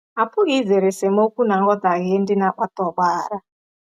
A pụghị izere esemokwu na nghọtahie ndị na-akpata ọgbaghara.